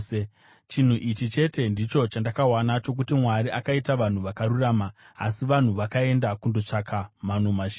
Chinhu ichi chete ndicho chandakawana chokuti: Mwari akaita vanhu vakarurama, asi vanhu vakaenda kundotsvaka mano mazhinji.”